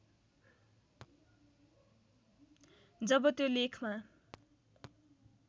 जब त्यो लेखमा